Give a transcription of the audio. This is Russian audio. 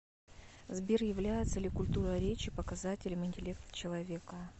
сбер является ли культура речи показателем интеллекта человека